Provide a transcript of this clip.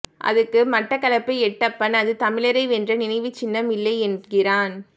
அதுக்கு மட்டக்களப்பு எட்டப்பன் அது தமிழரை வென்ற நினைவுச்சின்னம் இல்லையென்கிறான்